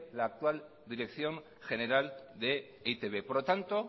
la actual dirección general de e i te be por lo tanto